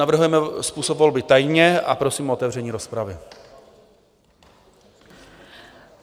Navrhujeme způsob volby tajně a prosím o otevření rozpravy.